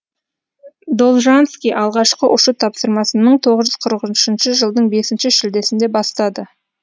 должанский алғашқы ұшу тапсырмасын мың тоғыз жүз қырық үшінші жылдың бесінші шілдесінде бастады